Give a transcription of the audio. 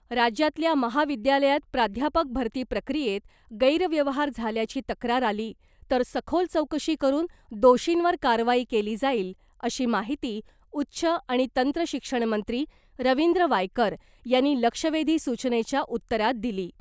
राज्यातल्या महाविद्यालयात प्राध्यापक भरती प्रक्रियेत गैरव्यवहार झाल्याची तक्रार आली , तर सखोल चौकशी करुन दोषींवर कारवाई केली जाईल , अशी माहिती उच्च आणि तंत्रशिक्षणमंत्री रविंद्र वायकर यांनी लक्षवेधी सूचनेच्या उत्तरात दिली .